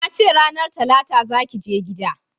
Na ce ranar talata za ki je gida!